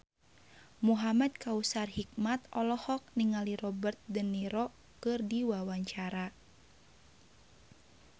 Muhamad Kautsar Hikmat olohok ningali Robert de Niro keur diwawancara